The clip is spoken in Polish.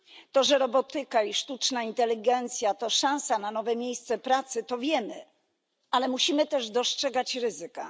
To, że robotyka i sztuczna inteligencja to szansa na nowe miejsca pracy, to wiemy, ale musimy też dostrzegać ryzyka.